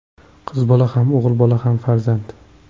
Qiz bola ham, o‘g‘il bola ham farzand.